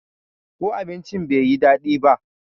ko abincin bai yi dadi ba?